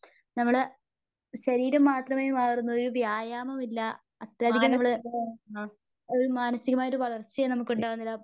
നമ്മള് ശരീരം മാത്രമേ വളർന്നുള്ളു. ഒരു വ്യായാമമില്ല അത്യധികം നമ്മള് ഒരു മാനസീകയായിട്ട് ഒരു വളർച്ചയും നമുക്ക് ഉണ്ടാവുന്നില്ല.